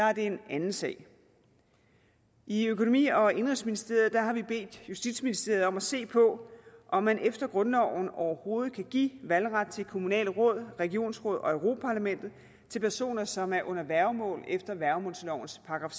er det en anden sag i økonomi og indenrigsministeriet har vi bedt justitsministeriet om at se på om man efter grundloven overhovedet kan give valgret til kommunale råd regionsråd og europa parlamentet til personer som er under værgemål efter værgemålslovens §